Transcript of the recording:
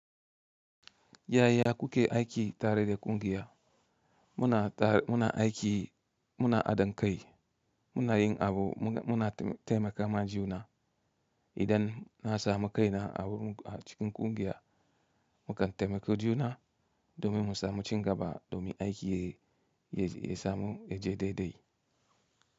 Yaya kuke aiki tare da kungiya? Muna aiki, muna ha dinkai, muna yin abu, muna taimaka ma juna. Idan na samu kaina a cikin ƙungiya, mukan taimaki juna domin mu samu ci gaba domin aiki ya samu, ya je daidai.